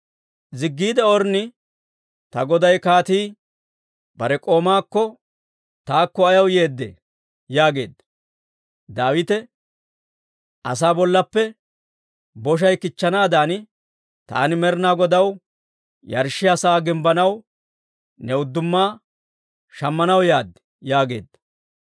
Ziggiide Ornni, «Ta goday kaatii bare k'oomaakko, taakko ayaw yeeddee?» yaageedda. Daawite, «Asaa bollaappe boshay kichchanaadan taani Med'inaa Godaw yarshshiyaa sa'aa gimbbanaw, ne udduma shammanaw yaad» yaageedda.